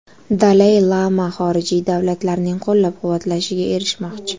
Dalay lama xorijiy davlatlarning qo‘llab-quvvatlashiga erishmoqchi.